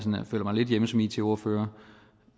føler mig lidt hjemme som it ordfører